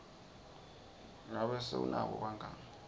ngabe se unabo bangani